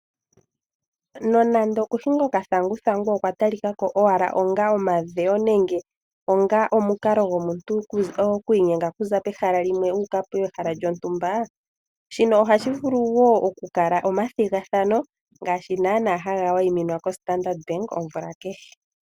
Nonande kuhinga okathanguthangu okwa talika ko owala onga omadhewo nande onga omukalo gomuntu oku inyenga oku za pehala limwe okuya pegala lyontumba, shino ohashi vulu wo okukala omathigathano ngaashi nana haga wayiminwa koStandard bank omvula keha.